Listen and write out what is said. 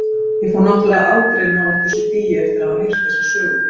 Ég fór náttúrlega aldrei nálægt þessu dýi eftir að hafa heyrt þessa sögu.